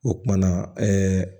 O kumana